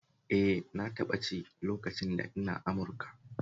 Eh na taɓa ci lokacin da ina Amurika